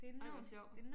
Ej hvor sjovt